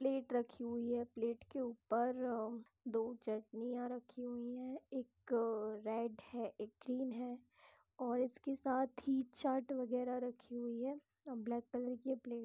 Plate रखी हुई है प्लेट के ऊपर दो चटनियाँ रखी हुई है| एक रेड है एक ग्रीन है और इसके साथ ही चाट बगैरह रखी हुई है और ब्लैक कलर की है प्लेट ।